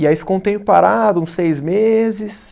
E aí ficou um tempo parado, uns seis meses.